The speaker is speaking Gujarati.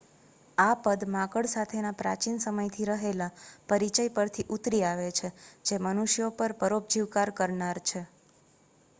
આ પદ માંકડ સાથેના પ્રાચીન સમયથી રહેલા પરિચય પરથી ઉતરી આવે છે જે મનુષ્યો પર પરોપજીવકાર કરનાર છે